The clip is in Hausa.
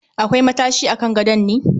Akwai matashi a kan gadon ne?